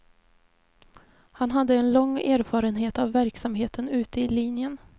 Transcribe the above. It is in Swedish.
Han hade en lång erfarenhet av verksamheten ute i linjen.